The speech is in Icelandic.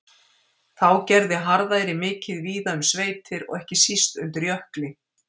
Þá gerði harðæri mikið víða um sveitir og ekki síst undir Jökli.